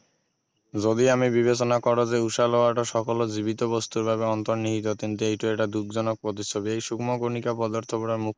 যদি আমি বিবেচনা কৰো যে উশাহ লোৱাতো সকলো জীৱিত বস্তুৰ বাবে অন্তৰ্নিহিত তেন্তে এইটো এটা দুখজনক প্ৰতিচ্ছবি এই সূক্ষ্ম কণিকা পদাৰ্থবোৰৰ